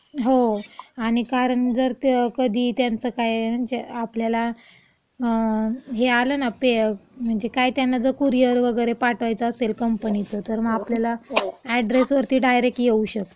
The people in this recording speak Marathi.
हो, आणि कारण जर का कधी, त्यांचं काय, म्हणजे आपल्याला हे आलं ना पे.. म्हणजे काय त्यांना जर कुरियर वगैरे पाठवायचं असेल कंपनीचं , तर मग आपल्याला अॅड्रेसवरती डायरेक्ट येऊ शकतं.